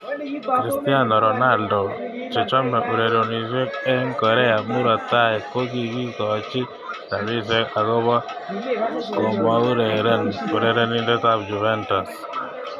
Cristiano Ronaldo: Chechome urerenosiek eng Korea murot tai kokikikochi rabisiek akopo komaureren urerenindet ab Juventus.